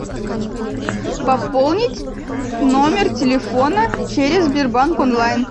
пополнить номер телефона через сбербанк онлайн